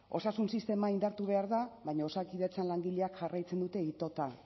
osasun sistema indartu behar da baina osakidetzan langileak jarraitzen dute itota